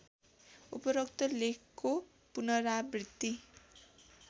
उपरोक्त लेखको पुनरावृत्ति